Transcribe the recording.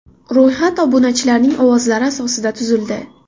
Ro‘yxat obunachilarning ovozlari asosida tuzildi.